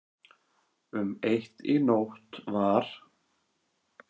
Um eitt í nótt var